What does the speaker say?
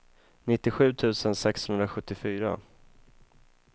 nittiosju tusen sexhundrasjuttiofyra